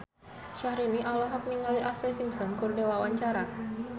Syahrini olohok ningali Ashlee Simpson keur diwawancara